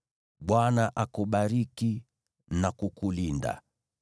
“‘“ Bwana akubariki na kukulinda;